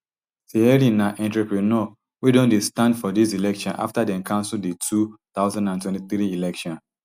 thierry na entrepreneur wey don dey stand for dis election afta dem cancel di two thousand and twenty-three election